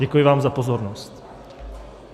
Děkuji vám za pozornost.